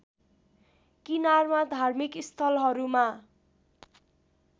किनारमा धार्मिक स्थलहरूमा